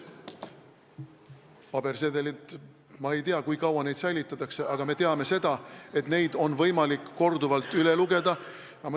Pabersedelid – ma ei tea, kui kaua neid säilitatakse, aga me teame, et neid on võimalik korduvalt üle lugeda.